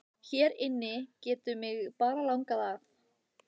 Hér inni getur mig bara langað að.